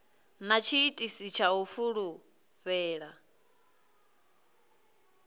na tshiitisi tsha u fulufhela